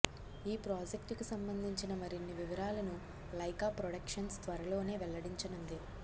ఈ ప్రాజెక్టుకు సంబందించిన మరిన్ని వివరాలను లైకా ప్రొడక్షన్స్ త్వరలోనే వెల్లడించనుంది